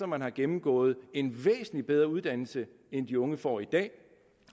man har gennemgået en væsentlig bedre uddannelse end de unge får i dag